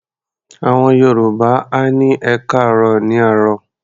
Àwọn Yorùbá á ní "ẹkáàárọ̀" ní àárọ̀.